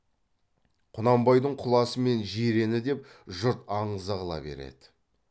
құнанбайдың құласы мен жирені деп жұрт аңыза қыла береді